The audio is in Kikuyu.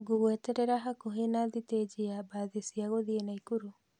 Ngũgweterera hakuhe na sitĩji ya bathi cia gũthii Naikuru